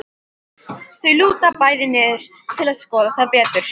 Þau lúta bæði niður til að skoða það betur.